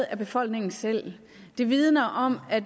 af befolkningen selv det vidner om at